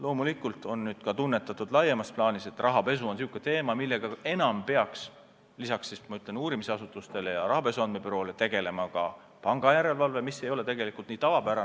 Teiselt poolt on nüüd loomulikult laiemas plaanis tunnetatud, et rahapesu on selline teema, millega peaks lisaks uurimisasutustele ja rahapesu andmebüroole rohkem tegelema ka pangajärelevalve, mis ei ole kuigi tavapärane.